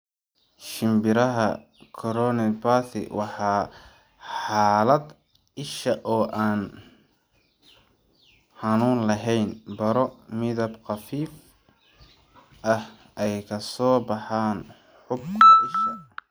Shimbiraha chorioretinopathy waa xaalad isha oo aan xanuun lahayn, baro midab khafiif ah ay ka soo baxaan xuubka isha.